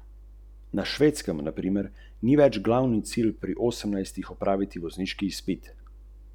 Tako kot talno tudi stensko ogrevanje deluje po načelu nizkotemperaturnega ogrevanja prostorov.